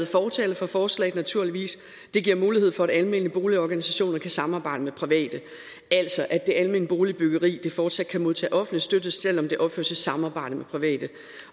fortaler for forslaget naturligvis det giver mulighed for at almene boligorganisationer kan samarbejde med private altså at det almene boligbyggeri fortsat kan modtage offentlig støtte selv om det opføres i samarbejde med private